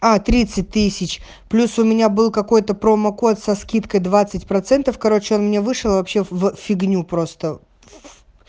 а тридцать тысяч плюс у меня был какой-то промокод со скидкой двадцать процентов короче он мне вышел вообще в фигню просто